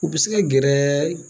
U bɛ se ka gɛrɛɛɛ.